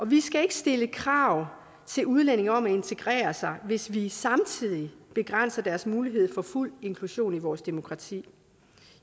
vi skal ikke stille krav til udlændinge om at integrere sig hvis vi samtidig begrænser deres mulighed for fuld inklusion i vores demokrati